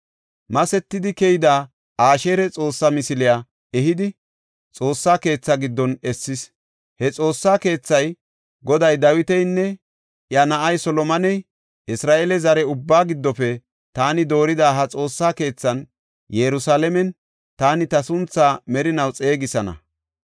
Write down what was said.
Masetidi keyida Asheera xoosse misiliya ehidi, Xoossa keetha giddon essis. He Xoossa keethay, Goday Dawitanne iya na7aa Solomone, “Isra7eele zare ubbaa giddofe taani doorida ha Xoossa keethan Yerusalaamen taani ta sunthaa merinaw xeegisana.